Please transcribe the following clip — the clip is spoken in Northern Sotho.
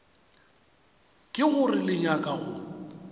ke gore le nyaka go